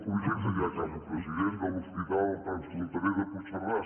projecte ja acabo president de l’hospital transfronterer de puigcerdà